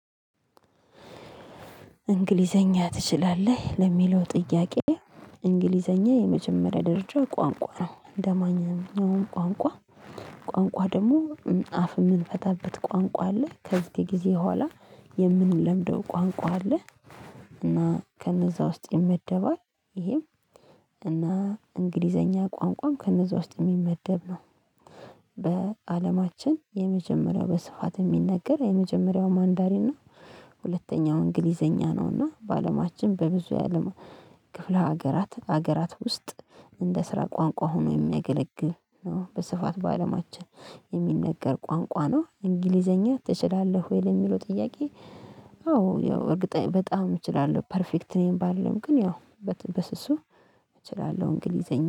እንግሊዝኛ ትችላለህ ለሚለው ጥያቄ? እንግሊዝኛ የመጀመሪያ ደረጃ ቋንቋ ነው እንደማንኛውም ቋንቋ ቋንቋ ደግሞ አፍ የምንፈታበት ቋንቋ አለ ከዚህ ጊዜ በኋላ የምንለምደው ቋንቋ አለ። እና ከነዛ ውስጥ ይመደባል ይሄም እና እንግሊዝኛ ቋንቋም ከነዛ ውስጥ የሚመደብ ነው። በአለማችን የመጀመሪያው በስፋት የሚነገር የመጀመሪያው ማንዳሪን ነው። ሁለተኛው እንግሊዝኛ ነው። እና በአለማችን በብዙ የአለም ክፍለ ሀገራት ሀገራት ውስጥ እንደ ስራ ቋንቋ ሆኖ የሚያገለግል ነው። በስፋት በአለማችን የሚነገር ቋንቋ ነው። እንግሊዝኛ ትችላለህ ወይ ለሚለው ጥያቄ? አዎ ያው እርግጠኛ በጣም እችላለሁ ፐርፌክት ነው ባልልም ግን ያው በስሱ እችላለሁ። እንግሊዝኛ